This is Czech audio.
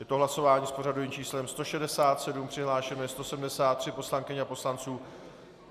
Je to hlasování s pořadovým číslem 167, přihlášeno je 173 poslankyň a poslanců.